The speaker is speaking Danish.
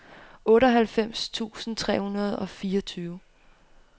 otteoghalvfems tusind tre hundrede og fireogtyve